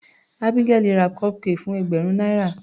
Abigael ra cupcake fún ẹgbẹ̀rún náírà.